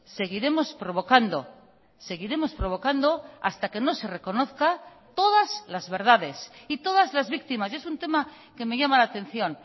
seguiremos provocando seguiremos provocando hasta que no se reconozca todas las verdades y todas las víctimas y es un tema que me llama la atención